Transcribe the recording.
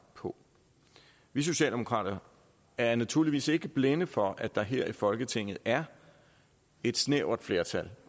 på vi socialdemokrater er naturligvis ikke blinde for at der her i folketinget er et snævert flertal